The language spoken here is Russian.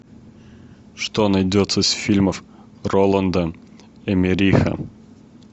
что найдется из фильмов роланда эммериха